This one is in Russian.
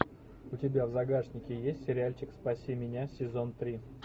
у тебя в загашнике есть сериальчик спаси меня сезон три